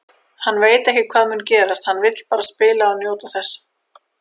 Hann veit ekki hvað mun gerast, hann vill bara spila og njóta þess.